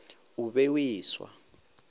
o be o e swa